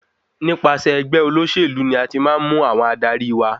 Nípasẹ̀ ẹgbẹ́ olóṣèlú ni a ti máa ń mú àwọn adarí wa.